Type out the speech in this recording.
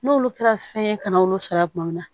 N'olu kɛra fɛn ye kana olu sara tuma min na